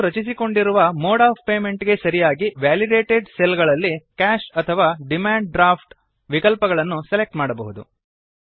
ನಾವು ರಚಿಸಿಕೊಂಡಿರುವ mode of payment ಗೆ ಸರಿಯಾಗಿ ವ್ಯಾಲಿಡೇಟೆಡ್ ಸೆಲ್ ಗಳಲ್ಲಿ ಕಾಶ್ ಅಥವಾ ಡಿಮಾಂಡ್ ಡ್ರಾಫ್ಟ್ ವಿಕಲ್ಪಗಳನ್ನು ಸೆಲೆಕ್ಟ್ ಮಾಡಬಹುದು